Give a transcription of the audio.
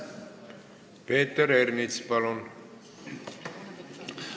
Peeter Ernits, palun!